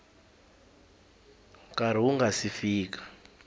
nkarhi wu nga si fika